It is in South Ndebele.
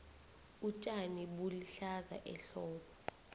utjani bulihlaza ehlobo